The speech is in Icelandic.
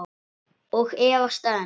Og efast enn.